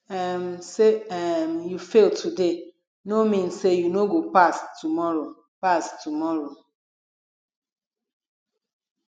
um sey um you fail today no mean sey you no go pass tomorrow pass tomorrow